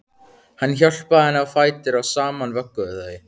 Hann hjálpaði henni á fætur og saman vögguðu þau